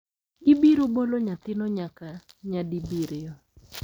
Gibiro bolo nyathino nyaka nyadibiriyo.